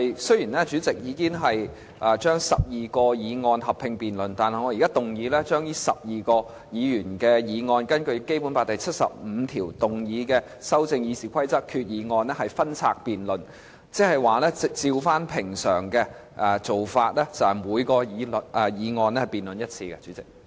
雖然主席已經把12項擬議決議案合併辯論，但我現在根據《基本法》第七十五條，動議把修訂《議事規則》的擬議決議案分拆辯論，即按照平常的做法，就每項議案進行辯論。